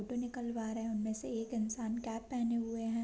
Photo निकलवा रहे है उनमें से एक इंसान कैप पेहने हुए हैं।